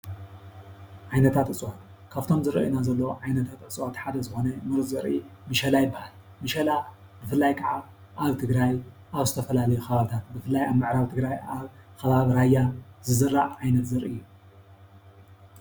ዓይነታት እፅዋት ካበቶም ዝረእዩና ዘለው ዓይነት እፅዋት ሓደ ዝኮነ ሙሩፀ ዘሪኢ መሸላ ይበሃል መሻላ ብፍላይ ከዓ አብ ትግራይ አብ ዝተፈላለዩ ከባበታት ብፈላይ አብ ምዕራብ ትግራይ ኣብ ከባቢ ራያ ዝዝራእ ዓይነት ዘርኢ እዩ፡፡